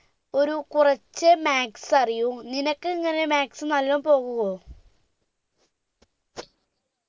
ഒരു കുറചേ maths അറിയൂ നിനക്ക് എങ്ങനെയാ maths നല്ലോണം പോവുവോ